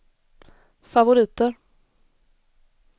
favoriter